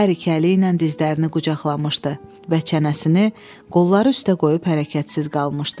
Hər iki əli ilə dizlərini qucaqlamışdı və çənəsini qolları üstə qoyub hərəkətsiz qalmışdı.